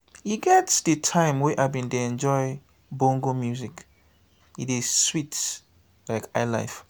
e get di time wey i bin dey enjoy bongo music e dey sweet like high-life.